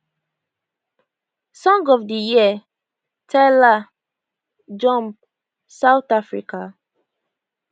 song of di year tyla jump south africa